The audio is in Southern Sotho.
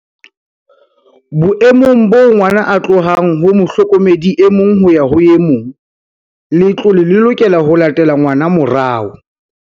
"Boemong boo ngwana a tlohang ho mohlokomedi e mong ho ya ho e mong, letlole le lokela ho latela ngwana morao."